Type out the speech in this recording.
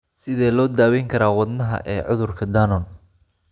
Sidee loo daweyn karaa wadnaha wadnaha ee cudurka Danon?